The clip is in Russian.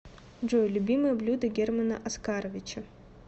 джой любимое блюдо германа оскаровича